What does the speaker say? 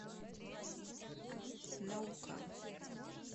наукан